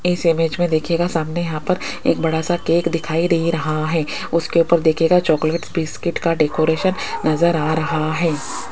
इस इमेज में देखिएगा सामने यहां पर एक बड़ा सा केक दिखाई दे रहा है उसके ऊपर देखिएगा चॉकलेट बिस्किट का डेकोरेशन नजर आ रहा है।